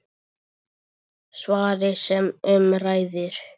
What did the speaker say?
Svarið sem um ræðir